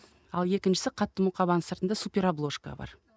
ал екіншісі қатты мұқабаның сыртында супер обложка бар